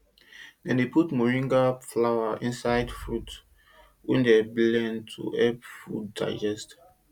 dem dey put moringa powder inside fruit wey dem blend to help food digest